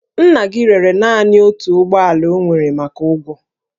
Nna gị rere naanị otu ụgbọ ala o nwere maka ụgwọ